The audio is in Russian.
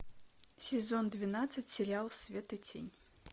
сезон двенадцать сериал свет и тень